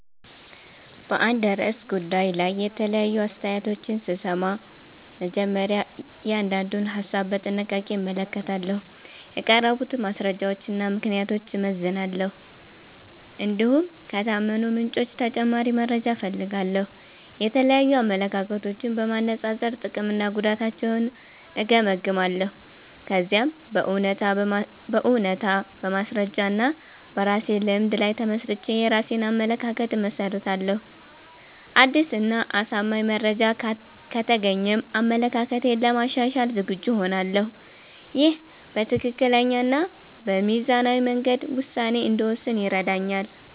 በአንድ ርዕሰ ጉዳይ ላይ የተለያዩ አስተያየቶችን ስሰማ፣ መጀመሪያ እያንዳንዱን ሀሳብ በጥንቃቄ እመለከታለሁ። የቀረቡትን ማስረጃዎችና ምክንያቶች እመዝናለሁ፣ እንዲሁም ከታመኑ ምንጮች ተጨማሪ መረጃ እፈልጋለሁ። የተለያዩ አመለካከቶችን በማነጻጸር ጥቅምና ጉዳታቸውን እገመግማለሁ። ከዚያም በእውነታ፣ በማስረጃ እና በራሴ ልምድ ላይ ተመስርቼ የራሴን አመለካከት እመሰርታለሁ። አዲስ እና አሳማኝ መረጃ ከተገኘም አመለካከቴን ለማሻሻል ዝግጁ እሆናለሁ። ይህ በትክክለኛ እና በሚዛናዊ መንገድ ውሳኔ እንድወስን ይረዳኛል።